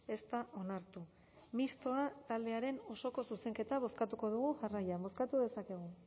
ez da onartu mistoa taldearen osoko zuzenketa bozkatuko dugu jarraian bozkatu dezakegu